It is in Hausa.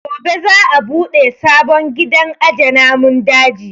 Gobe za a buɗe sabon gidan aje namun daji